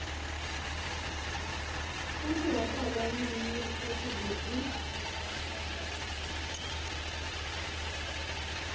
kutsi watalwanini futsi kuphi